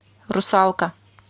русалка